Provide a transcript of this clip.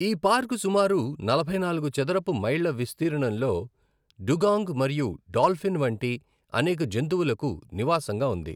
ఈ పార్కు సుమారు నలభై నాలుగు చదరపు మైళ్ళ విస్తీర్ణంలో డుగాంగ్ మరియు డాల్ఫిన్ వంటి అనేక జంతువులకు నివాసంగా ఉంది.